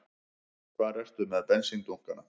Hvar ertu með bensíndunkana?